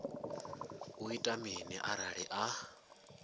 u ita mini arali a